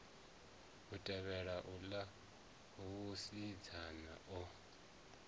a tevhelaho uḽa musidzana o